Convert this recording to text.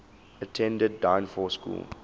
attended dynevor school